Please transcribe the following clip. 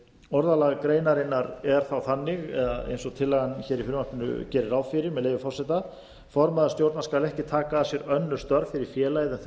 orðalag greinarinnar er þá þannig eða eins og tillagan í frumvarpinu gerir ráð fyrir með leyfi forseta formaður stjórnar skal ekki taka að sér önnur störf fyrir félagið en þau